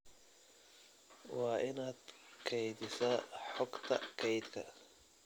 Waa inaad kaydisaa xogta kaydka